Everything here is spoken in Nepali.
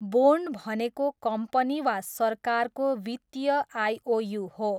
बोन्ड भनेको कम्पनी वा सरकारको वित्तीय आइओयू हो।